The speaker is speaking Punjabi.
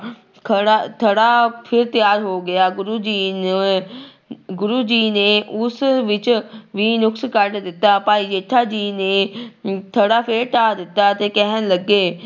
ਖੜਾ ਥੜਾ ਫਿਰ ਤਿਆਰ ਹੋ ਗਿਆ, ਗੁਰੂ ਜੀ ਨੇ ਗੁਰੂ ਜੀ ਨੇ ਉਸ ਵਿੱਚ ਵੀ ਨੁਕਸ ਕੱਢ ਦਿੱਤਾ, ਭਾਈ ਜੇਠਾ ਜੀ ਨੇ ਥੜਾ ਫਿਰ ਢਾਹ ਦਿੱਤਾ ਤੇ ਕਹਿਣ ਲੱਗੇ